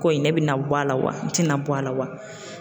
Ko in ne bɛna bɔ a la wa n tɛna bɔ a la wa?